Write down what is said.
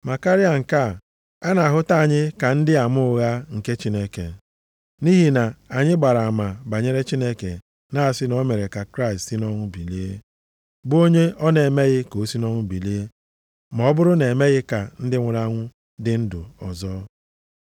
Ma karịa nke a, a na-ahụta anyị ka ndị ama ụgha nke Chineke, nʼihi na anyị gbara ama banyere Chineke, na-asị na o mere ka Kraịst si nʼọnwụ bilie, bụ onye ọ na-emeghị ka o si nʼọnwụ bilie ma ọ bụrụ na-emeghị ka ndị nwụrụ anwụ dị ndụ ọzọ.